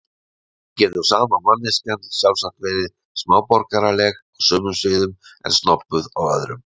Því getur sama manneskjan sjálfsagt verið smáborgaraleg á sumum sviðum en snobbuð á öðrum.